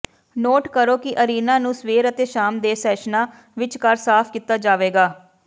note ਕਰੋ ਕਿ arena ਨੂੰ ਸਵੇਰ ਅਤੇ ਸ਼ਾਮ ਦੇ ਸੈਸ਼ਨਾਂ ਵਿਚਕਾਰ ਸਾਫ਼ ਕੀਤਾ ਜਾਵੇਗਾ